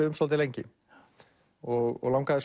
um svolítið lengi og langaði